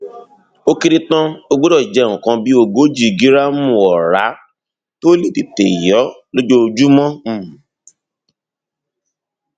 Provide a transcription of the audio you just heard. ó kéré tán o gbọdọ jẹ nǹkan bí ogójì gíráàmù ọrá tó lè tètè yó lójoojúmọ um